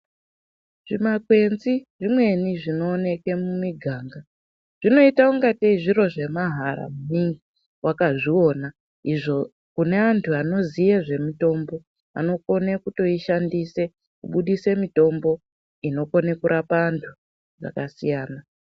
Zvimakwenzi zvimweni zvinoonekwe mumganga zvinoita ngateyi zviro zvemahala maningi wakazvi ona izvo kune vantu vanoziya nezvemitomba anokone kutoishandisa kubudisa mitombo inokone kurapa vantu vakasiyana.